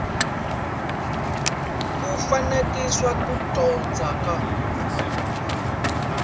ku pfanganisa ku dyondza ka